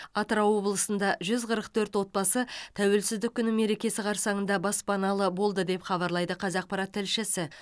атырау облысында жүз қырық төрт отбасы тәуелсіздік күні мерекесі қарсаңында баспаналы болды деп хабарлайды қазақпарат тілшісі